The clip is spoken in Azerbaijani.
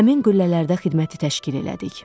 Həmin qüllələrdə xidməti təşkil elədik.